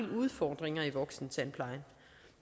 udfordringer i voksentandplejen